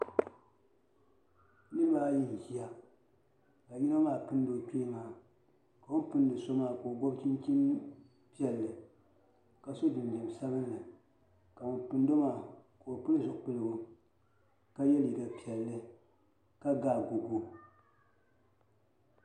Niraba ayi n ʒiya ka yino maa pindi o kpee maa o ni pindi so maa ka o gobi chinchini piɛlli ka so jinjɛm sabinli ka ŋun pindo maa ka o pili zipiligu ka yɛ liiga piɛlli ka ga agogo